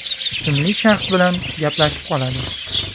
ismli shaxs bilan gaplashib qoladi.